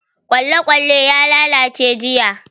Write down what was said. Kwalekwale ya lalace jiya.